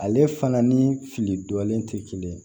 Ale fana ni fili dɔlen tɛ kelen ye